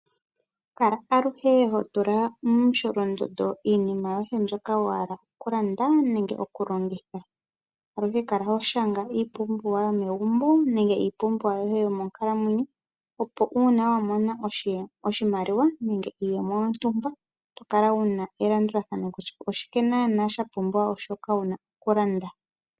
Kala aluhe ho tula momusholondondo iinima yoye mbyoka wa hala oku landa nenge oku longitha. Aluhe kala ho shanga iipumbiwa yomegumbo nenge iipumbiwa yoye yomonkalamwenyo, opo uuna wa mona oshimaliwa nenge iiyemo yontumba oto kala wu na elandulathano kutya oshike naanaa sha pumbiwa shoka wu na oku landa.